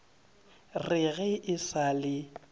re ga e sa le